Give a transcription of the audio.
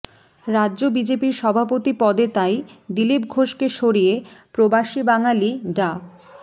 রাজ্য বিজেপির সভাপতি পদে তাই দিলীপ ঘোষকে সরিয়ে প্রবাসী বাঙালি ডা